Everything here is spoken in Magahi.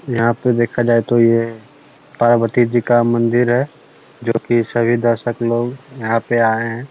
यहाँ पर देखा जाये तो ये पार्वती जी का मंदिर है जो की सभी दर्शक लोग यहाँ पे आए हैं ।